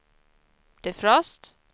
defrost